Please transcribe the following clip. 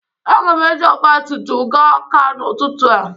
Aga m eji ọgbatumtum gaa Ọ́ká n'ụtụtụ a.